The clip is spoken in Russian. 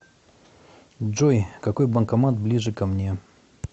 джой какой банкомат ближе ко мне